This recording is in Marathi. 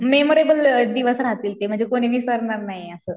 मेमरेबल दिवस राहतील ते म्हणजे कोणी विसरणार नाही असं.